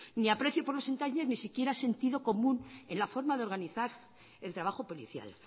ni aprecio por los detalles ni siquiera sentido común en la forma de organizar el trabajo policial